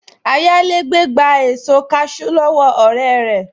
Ayálégbé gba èso kaṣú lọ́wọ́ ọ̀rẹ́ rẹ̀